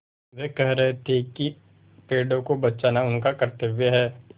वे कह रहे थे कि पेड़ों को बचाना उनका कर्त्तव्य है